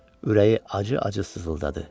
Ürəyi acı-acı sızıldadı.